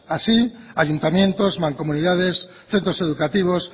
así ayuntamientos mancomunidades centros educativos